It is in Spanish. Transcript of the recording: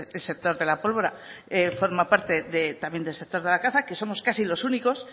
el sector de la pólvora forma parte del sector de la caza que somos casi los únicos